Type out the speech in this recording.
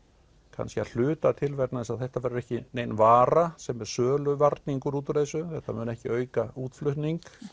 kannski að hluta til vegna þess að þetta var ekki nein vara sem er söluvarningur út úr þessu þetta mun ekki auka útflutning